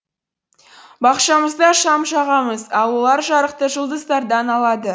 бақшамызда шам жағамыз ал олар жарықты жұлдыздардан алады